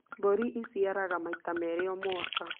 Mbũri ĩciaraga maita merĩ o mwaka